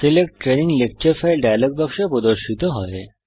select training lecture file dialog প্রদর্শিত হয়